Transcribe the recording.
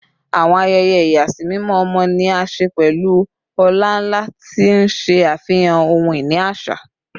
Awọn ayẹyẹ ìyàsímímọ ọmọ ni a ṣe pẹlu ọlá-nla, ti n ṣe afihan ohun-ini aṣa